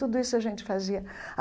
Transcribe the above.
Tudo isso a gente fazia a.